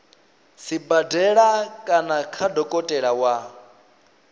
sibadela kana kha dokotela wa